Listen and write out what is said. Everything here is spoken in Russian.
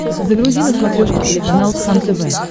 загрузи на смотрешке телеканал кхлм тв